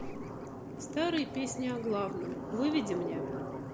старые песни о главном выведи мне